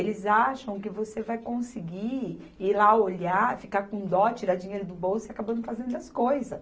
Eles acham que você vai conseguir ir lá olhar, ficar com dó, tirar dinheiro do bolso e acabando fazendo as coisas.